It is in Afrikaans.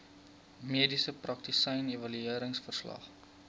mediese praktisyn evalueringsverslag